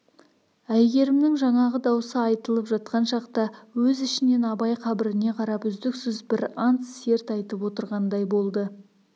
әйгерімнің жаңағы даусы айтылып жатқан шақта өз ішінен абай қабіріне қарап үздіксіз бір ант серт айтып отырғандай болды